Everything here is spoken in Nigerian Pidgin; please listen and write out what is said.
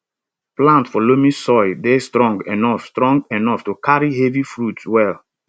plants for loamy soil dey strong enough strong enough to carry heavy fruits well